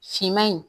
Finman in